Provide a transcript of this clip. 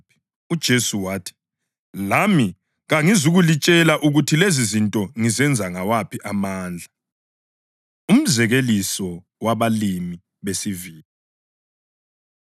UJesu wathi, “Lami kangizukulitshela ukuthi lezizinto ngizenza ngawaphi amandla.” Umzekeliso Wabalimi Besivini